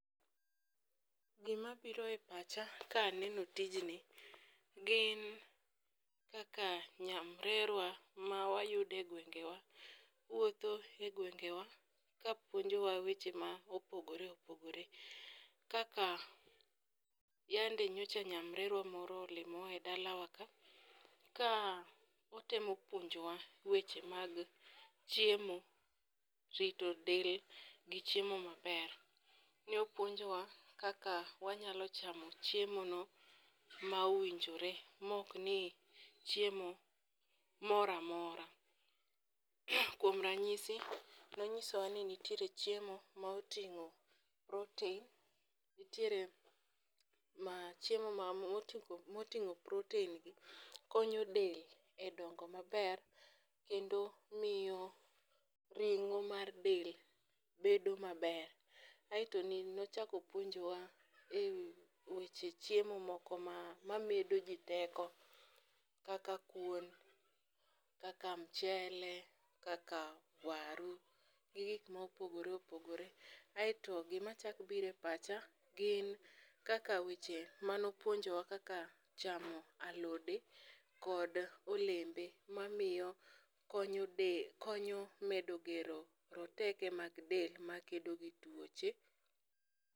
Gimabiro e pacha kaneno tijni gin kaka nyamrerwa mawayude gwengewa. Wuotho e gwengewa kapuonjowa weche ma opogore opogore kaka yande nyocha nyamrerwa moro olimiwa e dalawa ka. Ka otemo puonjowa weche mag chiemo, rito del, gi chiemo maber. Neopuonjowa kaka wanyalo chamo chiemono ma owinjore mokni chiemo moramora .Kuom ranyisi nonyisowa ni nitiere chiemo ma oting'o protein, nitiere chiemo moting'o proteingi konyo del e dongo maber kendo miyo ring'o mar del bedo maber.Ai to nochakopuonjowa e weche chiemo moko mamedo jii teko kaka kuon, kaka mchele, kaka waru gi gik ma opogore opogore. Ae to gima chak bire pacha gin kaka weche manopuonjowa kaka chamo alode kod olembe mamiyo konyo medo gero roteke mag del makedo gi tuoche.